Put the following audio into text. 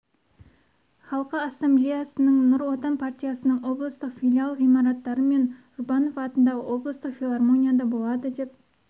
халқы ассамблеясының нұр отан партиясының облыстық филиал ғимараттары мен жұбанова атындағы облыстық филармонияда болады деп